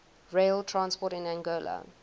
rail transport in angola